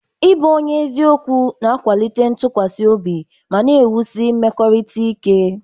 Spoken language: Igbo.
Ịbụ onye eziokwu na-akwalite ntụkwasị obi ma na-ewusi mmekọrịta ike.